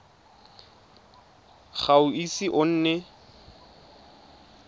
ga o ise o nne